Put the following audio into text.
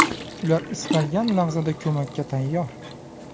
Ular istalgan lahzada ko‘makka tayyor.